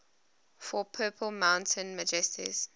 for purple mountain majesties